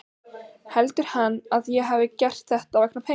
Heldur hann að ég hafi gert þetta vegna peninganna?